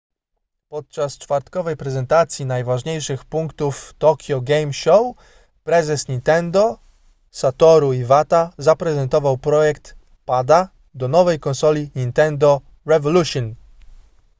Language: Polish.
podczas czwartkowej prezentacji najważniejszych punktów tokyo game show prezes nintendo satoru iwata zaprezentował projekt pada do nowej konsoli nintendo revolution